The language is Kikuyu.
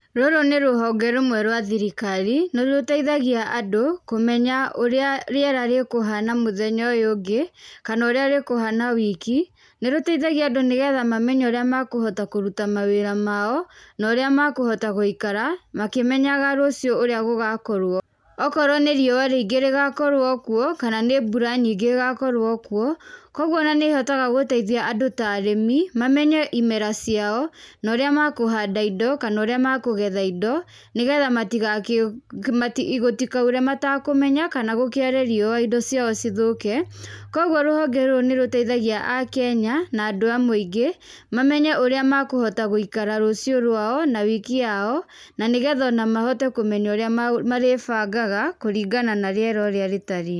Rũrũ nĩ rũhonge rũmwe rwa thirikari, nĩ rũteithagia andũ kũmenya ũrĩa rĩera rĩkũhana mũthenya ũyũ ũngĩ, kana ũrĩa rĩkũhana wiki, nĩ rũteithagia andũ nĩ getha mamenye ũrĩa makũhota kũruta mawĩra mao, na ũrĩa makũhota gũikara makĩmenyaga rũciũ ũrĩa gũgakorwo. Okorwo nĩ riũa rĩingĩ rĩgakorwo kuo, kana nĩ mbura nyingĩ ĩgakorwo kuo, kũguo ona nĩ ĩhotaga gũteithia andũ ta arĩmi, mamenye imera ciao, na ũrĩa makũhanda indo kana ũrĩa makũgetha indo nĩ getha gũtikaure matakũmenya kana gũkĩare riũa indo ciao cithũke. Kũguo rũhonge rũrũ nĩ rũteithagia Akenya na andũ a mũingĩ, mamenye ũrĩa makũhota gũikara rũciũ rwao na wiki yao na nĩ getha ona mahote kũmenya ũrĩa marĩbangaga kũringana na rĩera ũrĩa rĩtariĩ.